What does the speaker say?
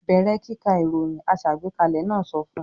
"Bẹ̀rẹ̀ kíka ìròyìn!" Aṣàgbékalẹ̀ náà sọ fún un.